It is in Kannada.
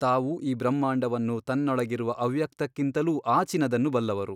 ತಾವು ಈ ಬ್ರಹ್ಮಾಂಡವನ್ನು ತನ್ನೊಳಗಿರುವ ಅವ್ಯಕ್ತಕ್ಕಿಂತಲೂ ಆಚಿನದನ್ನು ಬಲ್ಲವರು.